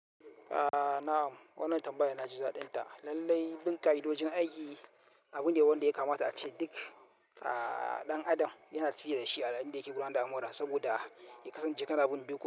A na'am, wannan tambayar naji daɗinta. Lallai, bin ka'idojin aiki abu ne wanda ya kamata a ce duk ɗan adam yana tafiya da shi a yayin da yake gudanar da alamura saboda ya kasance kanabun dokoki.